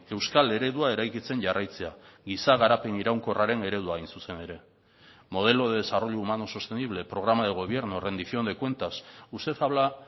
euskal eredua eraikitzen jarraitzea giza garapen iraunkorraren eredua hain zuzen ere modelo de desarrollo humano sostenible programa de gobierno rendición de cuentas usted habla